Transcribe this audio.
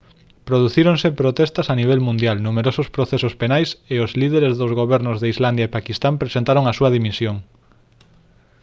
producíronse protestas a nivel mundial numerosos procesos penais e os líderes dos gobernos de islandia e paquistán presentaron a súa dimisión